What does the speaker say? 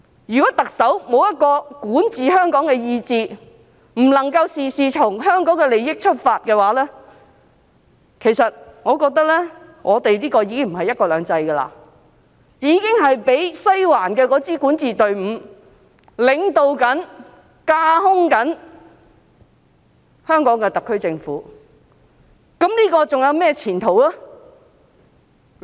如果特首欠缺管治香港的意志，不能夠事事從香港的利益出發，我覺得這個已經不是"一國兩制"，已經是被西環的管治隊伍領導和架空的香港特區政府，這樣還有甚麼前途可言呢？